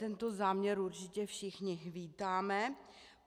Tento záměr určitě všichni vítáme.